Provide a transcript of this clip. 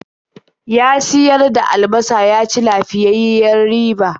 Ya siyar da albasa ya ci lafiyayyiyar riba.